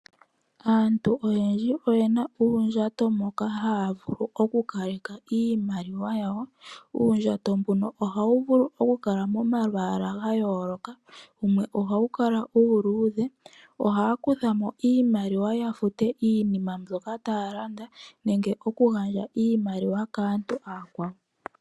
Aantu oyendji oyena uundjato moka haavulu oku kaleka iimaliwa yawo. Uundjato mbuno oha wu vulu oku kala momalwaala ga yooloka, wumwe oha wu kala uuluudhe, ohaya kuthamo iimaliwa yokufuta iinima mbyoka taya landa nemge oku gandja iimaliwa kaantu aakwawo